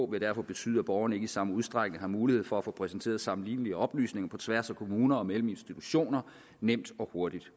vil derfor betyde at borgerne ikke i samme udstrækning har mulighed for at få præsenteret sammenlignelige oplysninger på tværs af kommuner og mellem institutioner nemt og hurtigt